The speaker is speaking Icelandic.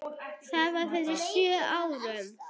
Það var fyrir sjö árum.